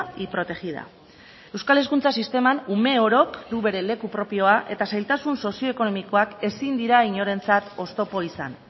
y protegida euskal hezkuntza sisteman ume orok du bere leku propioa eta zailtasun sozioekonomikoak ezin dira inorentzat oztopo izan